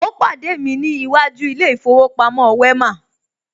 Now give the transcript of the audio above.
Ó pàdé mi ní iwájú ilé ìfowópamọ́ Wema